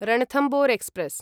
Ranthambore express